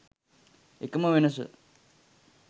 එකම වෙනස